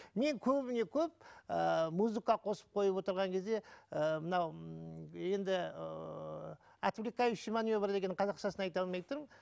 мен көбіне көп ыыы музыка қосып қойып отырған кезде ы мынау ммм енді ыыы отвлекающий маневр деген қазақшасын айта алмай тұрмын